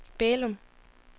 Bælum